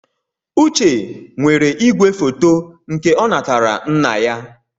Uche nwere ìgwèfoto nke ọ natara nna ya.